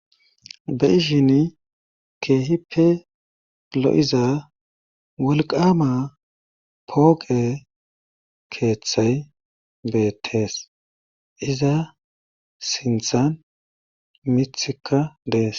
be ishin keehipe lo7iza wolqama pooqe keeththay beettees iza sinthan mithikka dees